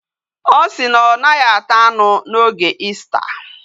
Osi na onaghi ata anu na oge Easter